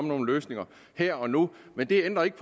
nogle løsninger her og nu men det ændrer ikke